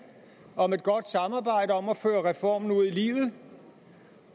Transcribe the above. om et godt samarbejde om at føre reformen ud i livet